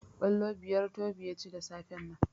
Kwallo biyar Tobi ya ci da safen nan.